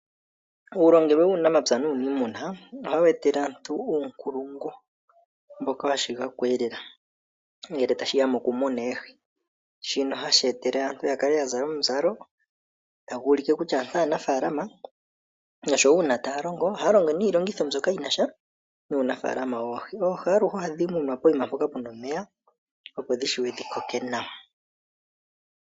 Uulongelwe wuunamapya nuuniimuna ohawu etele aantu uunkulungu mboka wa shigako eelela, ngele tashi ya mokumuna oohi. Shino ohashi etele aantu ya kale ya zala omizalo tadhi ulike kutya aantu aanafaalama. Osho wo uuna ta ya longo ohaya longo niilongitho mbyoka yi na sha nuunafaalama woohi. Oohi aluhe oha dhi munwa pokuma mpoka pu na omeya opo dhi shiwe dhi koke nawa.